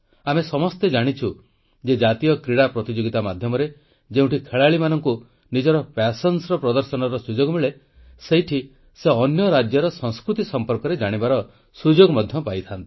ଆମେ ସମସ୍ତେ ଜାଣିଛୁ ଯେ ଜାତୀୟ କ୍ରୀଡ଼ା ପ୍ରତିଯୋଗିତା ମାଧ୍ୟମରେ ଯେଉଁଠି କ୍ରୀଡ଼ାବିତଙ୍କୁ ସେମାନଙ୍କ ପ୍ରତିଭା ପ୍ରଦର୍ଶନର ସୁଯୋଗ ମିଳେ ସେଇଠି ସେ ଅନ୍ୟ ରାଜ୍ୟର ସଂସ୍କୃତି ସମ୍ପର୍କରେ ଜାଣିବାର ସୁଯୋଗ ମଧ୍ୟ ପାଆନ୍ତି